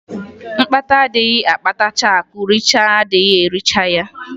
Mkpata adịghị akpatacha akụ nricha adịghị ericha ya.